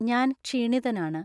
ഞാൻ ക്ഷീണിതനാണ്